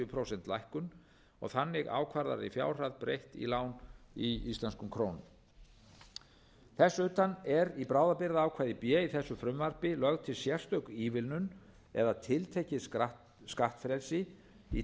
prósent lækkun og þannig ákvarðaðri fjárhæð breytt í lán í íslenskum krónum þess utan er í bráðabirgðaákvæði b í þessu frumvarpi lögð til sérstök ívilnun eða tiltekið skattfrelsi í